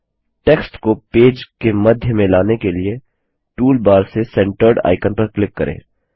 text को page के मध्य में लाने के लिए टूल बार से सेंटर्ड आइकन पर क्लिक करें